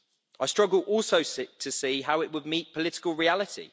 I struggle also to see how it would meet political reality.